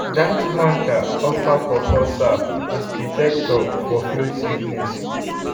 dat hunter offer pawpaw sap as detector for field sickness.